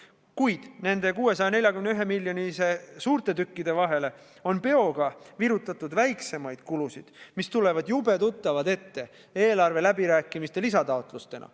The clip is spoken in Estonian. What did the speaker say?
Kuid nende 641 miljoni eurose koguväärtusega suurte tükkide vahele on peoga virutatud väiksemaid kulusid, mis tulevad jube tuttavad ette eelarve läbirääkimistelt lisataotlustena.